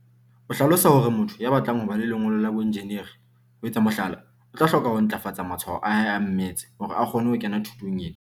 o hlalosa hore motho ya batlang ho ba le lengolo la boenjineri, ho etsa mohlala, o tla hloka ho ntlafatsa matshwao a hae a mmetse hore a kgone ho kena thutong ena.